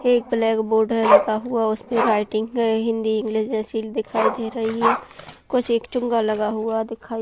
एक black board है लगा हुआ उसपे राइटिंग है हिंदी इंग्लिश जैसी दिखाई दे रही है। कुछ एक चूँगा लगा हुआ दिखाई --